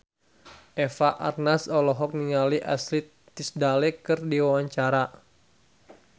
Eva Arnaz olohok ningali Ashley Tisdale keur diwawancara